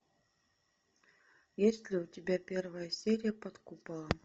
есть ли у тебя первая серия под куполом